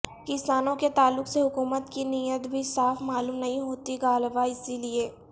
کسانوں کے تعلق سے حکومت کی نیت بھی صاف معلوم نہیں ہوتی غالبا اسی لئے